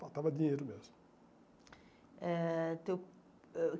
Faltava dinheiro mesmo. Eh teu ãh